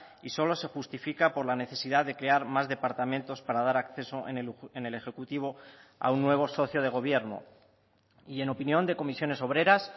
y solo se justifica por la necesidad de crear más departamentos para dar acceso en el ejecutivo a un nuevo socio de gobierno y en opinión de comisiones obreras